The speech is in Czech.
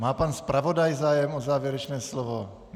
Má pan zpravodaj zájem o závěrečné slovo?